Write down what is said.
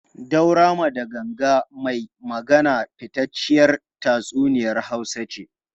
Daurama da Ganga mai Magana fitacciyar tatsuniyar Hausa ce.